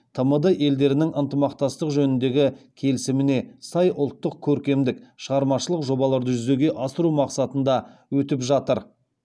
тмд елдерінің ынтымақтастық жөніндегі келісіміне сай ұлттық көркемдік шығармашылық жобаларды жүзеге асыру мақсатында өтіп жатыр